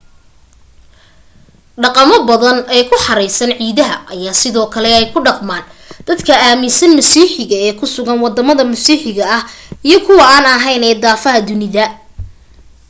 dhaqamo badan ee ku xeeraysan ciidaha ayaa sidoo kale ay ku dhaqmaan dad aaminsanayn masiixiga ee ku sugan wadama masiixiga ah iyo kuwa an ahayn ee daafaha dunida